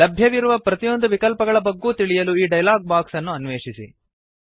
ಲಭ್ಯವಿರುವ ಪ್ರತಿಯೊಂದು ವಿಕಲ್ಪಗಳ ಬಗ್ಗೂ ತಿಳಿಯಲು ಈ ಡಯಲಾಗ್ ಬಾಕ್ಸ್ ಅನ್ನು ಅನ್ವೇಷಿಸಿ